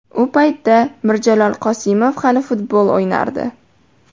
U paytda Mirjalol Qosimov hali futbol o‘ynardi.